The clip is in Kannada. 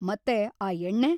ಮತ್ತೆ ಆ ಎಣ್ಣೆ!